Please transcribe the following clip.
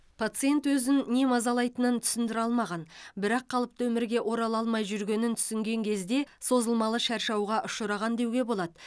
пациент өзін не мазалайтынын түсіндіре алмаған бірақ қалыпты өмірге орала алмай жүргенін түсінген кезде созылмалы шаршауға ұшыраған деуге болады